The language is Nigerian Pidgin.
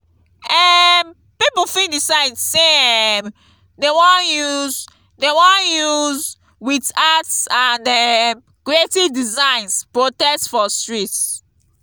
um pipo fit decide say um dem won use dem won use with arts and um creative designs protest for streets